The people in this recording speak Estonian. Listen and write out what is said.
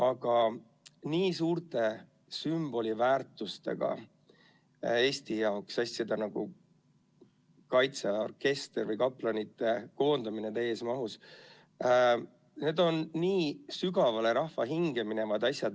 Aga Eesti jaoks nii suure sümboliväärtusega asjad, nagu kaitseväe orkester või kaplanite koondamine täies mahus on nii sügavale rahva hinge minevad asjad.